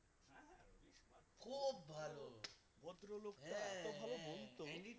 খুব ভালো ভদ্র লোকটা এত ভালো বলতো